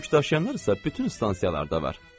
Yük daşıyanlar isə bütün stansiyalarda var.